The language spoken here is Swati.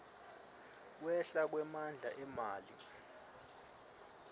kwehla kwemandla emali